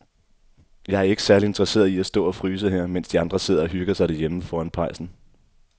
Jeg er ikke særlig interesseret i at stå og fryse her, mens de andre sidder og hygger sig derhjemme foran pejsen.